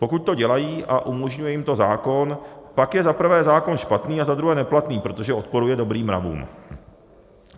Pokud to dělají a umožňuje jim to zákon, pak je za prvé zákon špatný a za druhé neplatný, protože odporuje dobrým mravům.